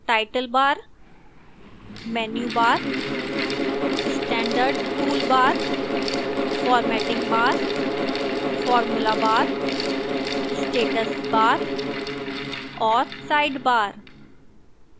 title bar menu bar standard toolbar formatting bar formula bar status bar और sidebar